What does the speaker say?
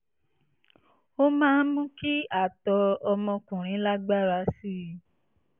ó máa ń mú kí àtọ̀ ọmọkùnrin lágbára sí i